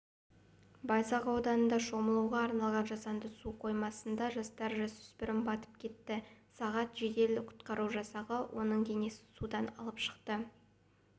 байзақ ауданында шомылуға арналмаған жасанды су қоймасында жастағы жасөспірім батып кетті сағат жедел құтқару жасағы оның денесін судан алып шықты